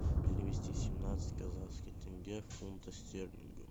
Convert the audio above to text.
перевести семнадцать казахских тенге в фунты стерлингов